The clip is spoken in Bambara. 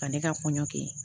Ka ne ka kɔɲɔ kɛ